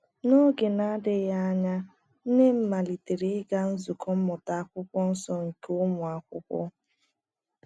N’oge na - adịghị anya, nne m malitere ịga nzukọ Mmụta akwụkwo nso nke ụmụ akwụkwo